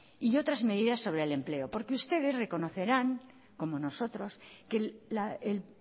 y otras medidas sobre el empleo porque ustedes reconocerán como nosotros que el